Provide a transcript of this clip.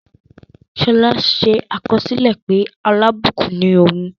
Ṣọlá ṣe àkọsílẹ̀ pé alábùkún ni òun.